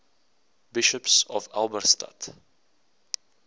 bishops of halberstadt